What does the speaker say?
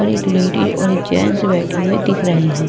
और एक लेडी और एक जेंट्स बैठे हुए दिख रहे हैं।